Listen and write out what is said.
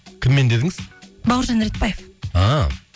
кіммен дедіңіз бауыржан ретпаев а